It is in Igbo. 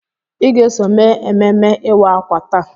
Ị ga-eso mee ememme ịwa ákwà taa!